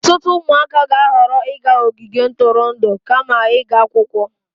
Ọtụtụ ụmụaka ga-ahọrọ ịga ogige ntụrụndụ kama ịga akwụkwọ.